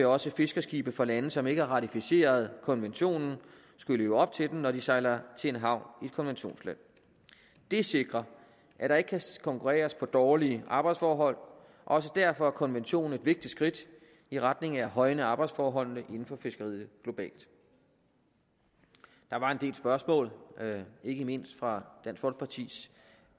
også fiskerskibe fra lande som ikke har ratificeret konventionen skulle leve op til den når de sejler til en havn i et konventionsland det sikrer at der ikke kan konkurreres på dårlige arbejdsforhold og også derfor er konventionen et vigtigt skridt i retning af at højne arbejdsforholdene inden for fiskeriet globalt der var en del spørgsmål ikke mindst fra dansk folkepartis